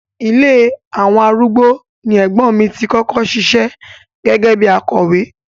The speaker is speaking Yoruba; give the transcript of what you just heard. Ilé àwọn arúgbó ni ẹ̀gbọ́n mi tí kọ́kọ́ ṣiṣẹ́ gẹ́gẹ́ bíi akọ̀wé.